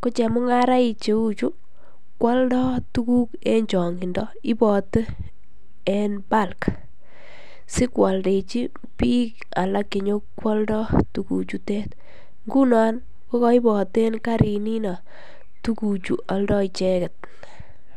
Ko chemungaraik cheu chu kwoldo tuguk en chongindo. Ibote eng bulk sikwaldechi biik alak che nyokwaldo tuguchutet. Ngunon ko kaiboten karininino tuguchu aldo icheget.